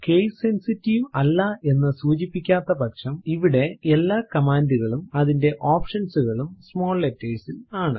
case sensitive അല്ല എന്ന് സൂചിപ്പിക്കാത്ത പക്ഷം ഇവിടെ എല്ലാ കമാൻഡ് കളും അതിന്റെ ഓപ്ഷൻസ് കളും സ്മോൾ ലെറ്റേർസ് ൽ ആണ്